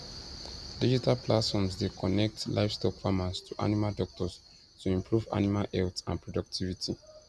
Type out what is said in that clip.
digital platforms dey connect livestock farmers to animal doctors to improve animal health and productivity